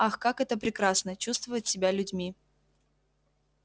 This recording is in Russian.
ах как это прекрасно чувствовать себя людьми